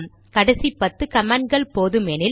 கடைசி பத்து கமாண்ட்கள் போதுமெனில்